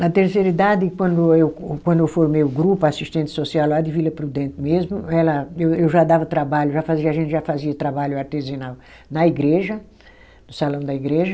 Na terceira idade, quando eu, quando eu formei o grupo a assistente social lá de Vila Prudente mesmo, ela, eu eu já dava trabalho, já fazia, a gente já fazia trabalho artesanal na igreja, no salão da igreja.